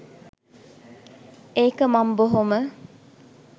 ඒක මං බොහොම.